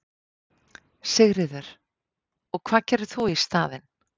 Sigríður: Og hvað gerir þú í staðinn?